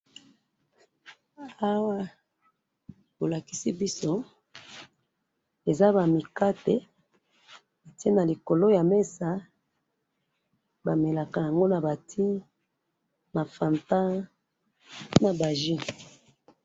awa bolakisi biso eza ba mikate batiye na likolo ya mesa bamelaka ngo naba ti, na fanta naba jus